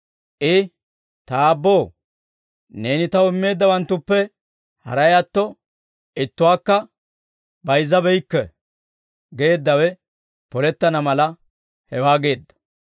I, «Ta Aabboo, neeni Taw immeeddawanttuppe haray atto, ittuwaakka bayizzabeykke» geeddawe polettana mala, hewaa geedda.